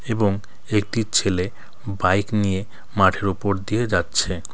এবং একটি ছেলে বাইক নিয়ে মাঠের ওপর দিয়ে যাচ্ছে .